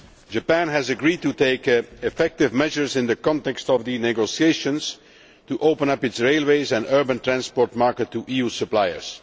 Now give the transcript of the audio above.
Japan has agreed to take effective measures in the context of the negotiations to open up its railways and urban transport market to EU suppliers.